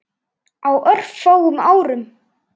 Á örfáum árum.